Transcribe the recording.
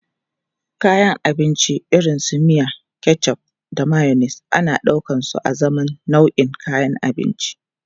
Kayan abinci irin su miya, ketchup da mayonnaise ana ɗaukarsu azaman nau'in kayan abinci.